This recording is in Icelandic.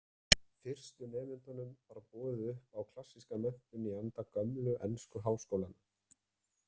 Fyrstu nemendunum var boðið upp á klassíska menntun í anda gömlu ensku háskólanna.